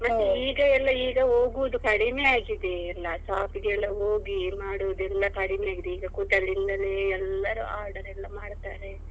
ಮತ್ತೆ ಈಗ ಎಲ್ಲ ಈಗ ಹೋಗುದು ಕಡಿಮೆಯಾಗಿದೆ ಎಲ್ಲ shop ಗೆಲ್ಲ ಹೋಗಿ ಮಾಡುದು ಎಲ್ಲ ಕಡಿಮೆಯಾಗಿದೆ ಈಗ ಕೂತಲ್ಲಿಂದಲೇ ಎಲ್ಲರು order ಎಲ್ಲ ಮಾಡ್ತಾರೆ.